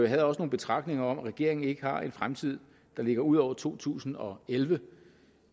havde også nogle betragtninger om at regeringen ikke har en fremtid der ligger ud over to tusind og elleve